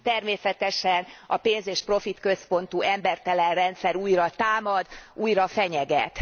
Természetesen a pénz és profitközpontú embertelen rendszer újra támad, újra fenyeget.